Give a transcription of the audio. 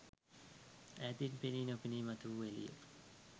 ඈතීන් පෙනී නොපෙනී මතු වූ එළිය